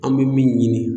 An bɛ min ɲini